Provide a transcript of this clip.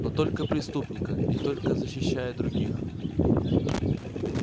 но только преступника и только защищая других